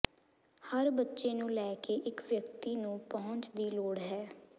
ਹਰ ਬੱਚੇ ਨੂੰ ਲੈ ਕੇ ਇੱਕ ਵਿਅਕਤੀ ਨੂੰ ਪਹੁੰਚ ਦੀ ਲੋੜ ਹੈ